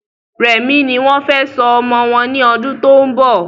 Rẹmi ní wọ́n fẹ sọ ọmọ wọn ní ọdún tó ń bọ̀